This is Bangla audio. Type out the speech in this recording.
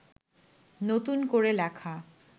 নতুন করে লেখা